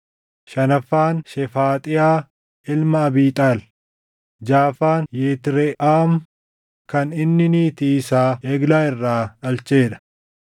shanaffaan Shefaaxiyaa ilma Abiixaal; jaʼaffaan Yitreʼaam kan inni niitii isaa Eglaa irraa dhalchee dha.